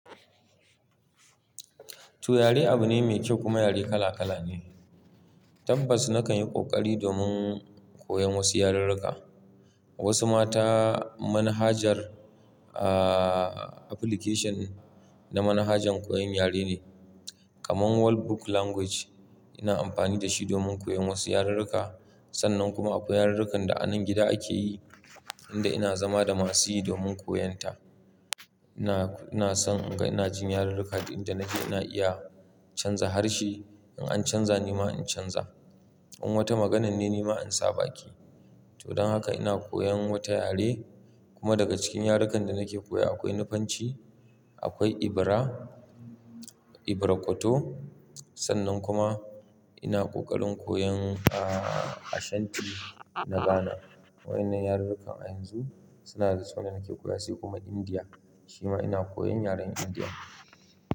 To yare abu ne mai kyau kuma yare kala kala ne. Tabbas na kan yi ƙoƙari domin koyon wasu yarurruka. Wasu ma ta manhajar, aah application na manhajan koyon yare ne kamar World Book Language. Ina amfani da shi domin koyon wasu yarurruka. Sannan kuma akwai yarurrukan da a nan gida ake yi, inda ina zama da masu yi domin koyon ta. Ina, ina son inga ina jin yarurruka duk inda nake ina iya canza harshe. In an canza nima in canza. In wata maganane nima in sa baki. To don haka ina koyan wata yare kuma daga cikin yarukan da nake koya akwai Nufanci, akwai Ibra, Ibra Kwato. Sannan kuma ina ƙoƙarin koyan Ashanti na Ghana. Wa'innan yarurrukan a yanzu suna da suna nake koya sai kuma Indiya, shi ma ina koyan yaren Indiya.